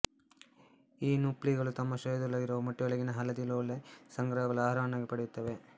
ಈ ನುಪ್ಲೀಗಳು ತಮ್ಮ ಶರೀರದೊಳಗಿರುವ ಮೊಟ್ಟೆಯೊಳಗಿನ ಹಳದಿ ಲೋಳೆ ಸಂಗ್ರಹವನ್ನು ಆಹಾರವನ್ನಾಗಿ ಪಡೆಯುತ್ತವೆ